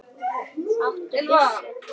Áttu byssu?